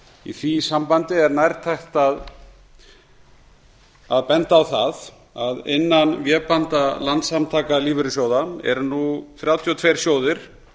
í því sambandi er nærtækt að benda á það að innan vébanda landssamtaka lífeyrissjóða eru nú þrjátíu og tveir sjóðir